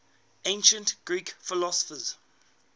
ancient greek philosophers